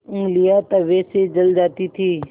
ऊँगलियाँ तवे से जल जाती थीं